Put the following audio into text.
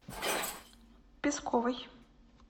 песковой